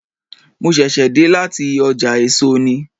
Mo ṣẹ̀ṣẹ̀ dé láti ọjà èso ni.